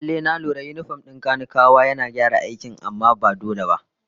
Lallai, na lura yinifom din kanikawa yana gyara aikin amma ba dole ba ne